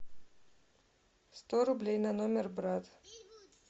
сто рублей на номер брат